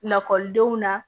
Lakɔlidenw na